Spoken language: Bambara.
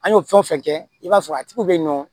An y'o fɛn o fɛn kɛ i b'a sɔrɔ a tigiw bɛ yen nɔ